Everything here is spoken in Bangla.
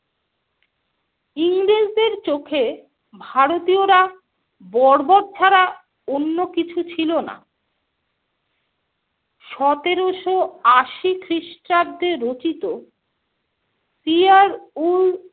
ইংরেজদের চোখে ভারতীয়রা বর্বর ছাড়া অন্য কিছু ছিল না। সতেরোশো আশি খ্রিস্টাব্দে রচিত সিয়ার-উল-